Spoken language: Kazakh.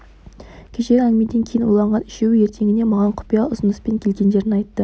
кешегі әңгімеден кейін ойланған үшеуі ертеңіне маған құпия ұсыныспен келгендерін айтты